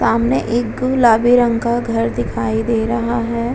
सामने एक गुलाबी रंग का घर दिखाई दे रहा है।